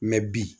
mɛ bi